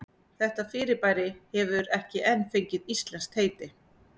Þetta fyrirbæri hefur ekki enn fengið íslenskt heiti.